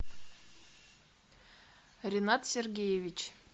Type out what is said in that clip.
ринат сергеевич